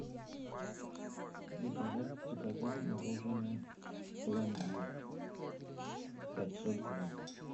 заказать заказать мороженое пломбир пятьсот грамм